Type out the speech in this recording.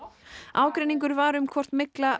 ágreiningur var um hvort mygla